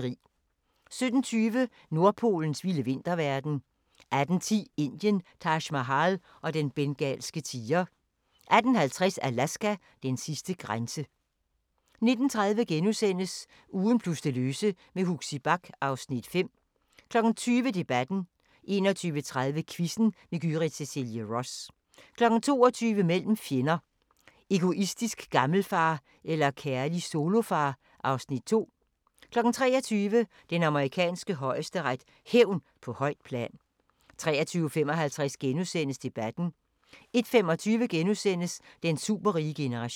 17:20: Nordpolens vilde vinterverden 18:10: Indien – Taj Mahal og den bengalske tiger 18:50: Alaska: Den sidste grænse 19:30: Ugen plus det løse med Huxi Bach (Afs. 5)* 20:00: Debatten 21:30: Quizzen med Gyrith Cecilie Ross 22:00: Mellem fjender: Egoistisk gammelfar eller kærlig solofar? (Afs. 2) 23:00: Den amerikanske højesteret: Hævn på højt plan 23:55: Debatten * 01:25: Den superrige generation *